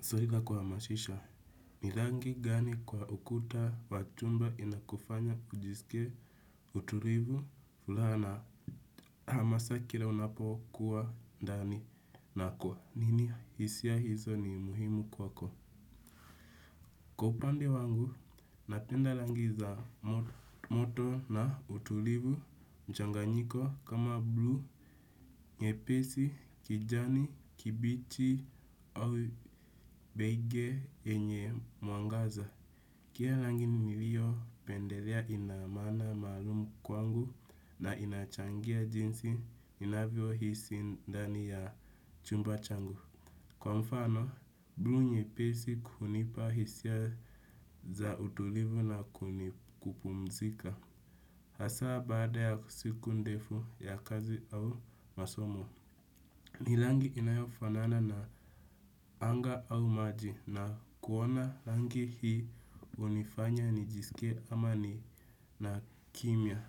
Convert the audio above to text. Zoila kuha mashisha, ni rangi gani kwa ukuta watumba inakufanya kujisikie utulivu, fulaha na. Hamasa kila unapokuwa ndani? Na kwa nini hisia hizo ni muhimu kwako? Kwa upande wangu, napenda langi za moto na utulivu, mchanganyiko kama blue, nyepesi, kijani kibichi, au beige yenye, mwangaza. Kila rangi ni liyo pendelea inamaana maalumu kwangu na inachangia jinsi, ninavyo hisi ndani ya chumba changu. Kwa mfano, blu nyepesi hunipa hisia za utulivu na kupumzika. Hasaa, baada ya siku ndefu ya kazi au masomo. Hii rangi inayofanana na anga au maji na kuona rangi hii, unifanya ni jisikie amani na kimya.